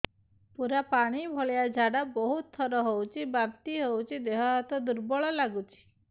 ପୁରା ପାଣି ଭଳିଆ ଝାଡା ବହୁତ ଥର ହଉଛି ବାନ୍ତି ହଉଚି ଦେହ ହାତ ଦୁର୍ବଳ ଲାଗୁଚି